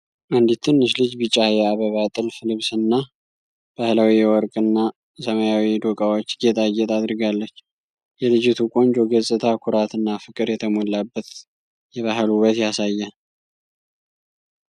አንዲት ትንሽ ልጅ ቢጫ የአበባ ጥልፍ ልብስና ባህላዊ የወርቅና ሰማያዊ ዶቃዎች ጌጣጌጥ አድርጋለች። የልጅቱ ቆንጆ ገጽታ ኩራት እና ፍቅር የተሞላበት የባህል ውበት ያሳያል።